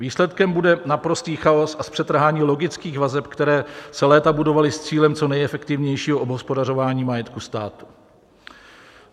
Výsledkem bude naprostý chaos a zpřetrhání logických vazeb, které se léta budovaly s cílem co nejefektivnějšího obhospodařování majetku státu.